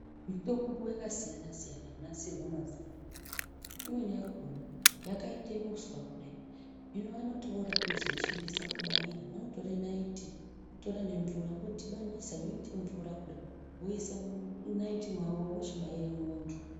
Mitombo yakasiyana siyana yanasirwa mazuwa anaye, imweni yakona yakaite uswa kudai . Hino vanoti voda kuzoishandisa kubayira vanotora nayiti votora nemvura vodhibanisa yoite mvura kudai, voise munayiti mawo vochibaire muntu.